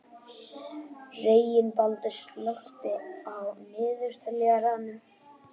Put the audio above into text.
Reginbaldur, slökktu á niðurteljaranum.